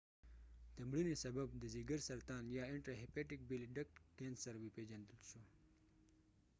د مړینی سبب د ځیګر سرطان یا intrahepatic bile duct cancer وپیژندل شو